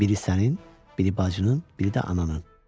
Biri sənin, biri bacının, biri də ananın.